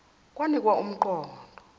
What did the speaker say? kwakunika um qondo